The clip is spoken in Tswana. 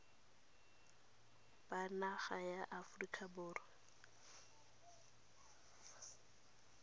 ba naga ya aforika borwa